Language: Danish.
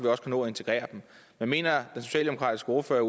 også kan nå at integrere dem men mener den socialdemokratiske ordfører